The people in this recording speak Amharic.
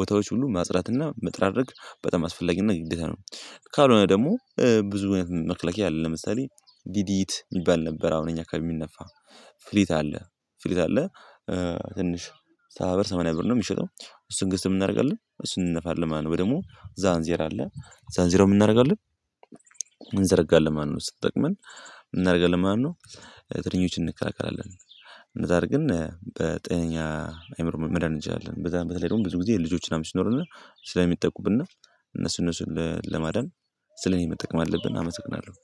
ቦታዎች ሁሉ ማጽዳትና መጠራረግ በጣም አስፈላጊና ግዴታ ነው። ካልሆነ ደግሞ ብዙ መክለኪያ አለ ለምሳሌ ዲዲት ይባል ነበር አሁን እኛ ከሚነፋ ፍሊት አለ ፍሊት አለ ትንሽ ሰባ ብር ሰማንያ ብር ነው የሚሸጠው። እሱን ገዝተን ምን እናደርጋለን እሱን እንነፋለን ማለትነው። ወይም ደግሞ ዛን ዜር አለ ዛንዚራውን ምን እናደርጋለን? እንዘረጋለን ማለትነው። ስጠቅመን እናደርጋለን ማነው ትንኞችን እንከላከላለን። እንደዚያ አርገን በጤነኛ አይምሮ መዳን እንችለለን በዛ በተለይ ደግሞ ብዙ ጊዜ ልጆች ምናመን ሲኖሩን ስለሚጠቁብን እነሱን እነሱን ለማዳን ስለዚህ መጠቀም አለብን። አመሰግናለሁ